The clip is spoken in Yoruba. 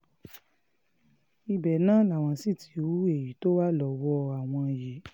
ibẹ̀ náà làwọn sì ti hu èyí tó wà lọ́wọ́ àwọn yìí